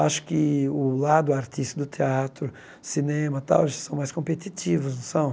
Acho que o lado artístico do teatro, cinema tal são mais competitivos, não são?